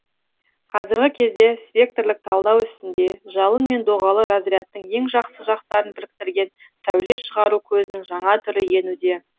қазіргі кезде спектрлік талдау ісінде жалын мен доғалы разрядтың ең жақсы жақтарын біріктірген сәуле шығару көзінің жаңа түрі енуде